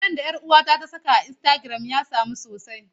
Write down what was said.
Hoton da 'yar uwata ta saka a Instagram ya samu so sosai.